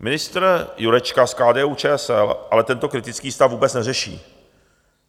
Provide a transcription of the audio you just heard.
Ministr Jurečka z KDU-ČSL ale tento kritický stav vůbec neřeší.